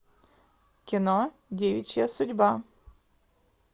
кино девичья судьба